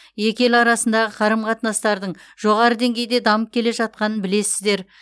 екі ел арасындағы қарым қатынастардың жоғары деңгейде дамып келе жатқанын білесіздер